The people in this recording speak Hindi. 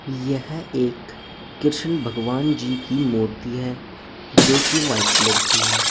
यह एक कृष्ण भगवान जी की मूर्ति है जो कि व्हाइट कलर की है।